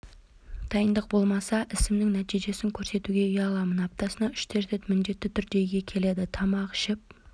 дайындық болмаса ісімнің нәтижесін көрсетуге ұяламын аптасына үш-төрт рет міндетті түрде үйге келеді тамақ ішіп